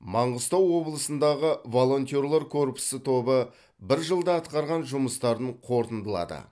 маңғыстау облысындағы волонтерлар корпусы тобы бір жылда атқарған жұмыстарын қорытындылады